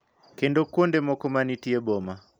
Kendo kuonde moko ma nitie boma.